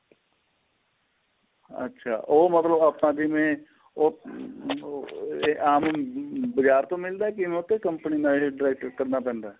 ਅੱਛਾ ਉਹ ਮਤਲਬ ਆਪਾਂ ਜਿਵੇਂ ਉਹ ਬਾਜ਼ਾਰ ਤੋ ਮਿਲਦਾ ਕਿਵੇਂ ਉਹ ਤੇ company ਨਾਲ ਏਹ direct ਕਰਨਾ ਪੈਂਦਾ